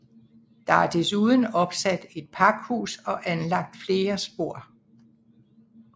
Der er desuden opsat et pakhus og anlagt flere spor